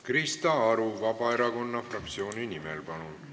Krista Aru Vabaerakonna fraktsiooni nimel, palun!